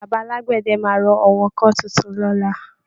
Baba alágbẹ̀dẹ máa rọ àwọn ọkọ́ tuntun lọ́la